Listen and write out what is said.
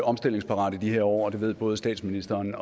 omstillingsparat i de her år og det ved både statsministeren